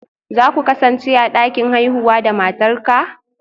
Za ku kasance a dakin haihuwa da matarka?